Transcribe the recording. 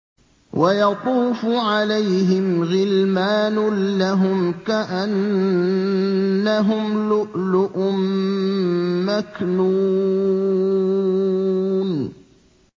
۞ وَيَطُوفُ عَلَيْهِمْ غِلْمَانٌ لَّهُمْ كَأَنَّهُمْ لُؤْلُؤٌ مَّكْنُونٌ